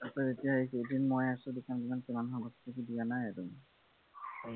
আকৌ এতিয়া এইকেইদিন মই আছোঁ দোকানত দিয়া নাই আৰু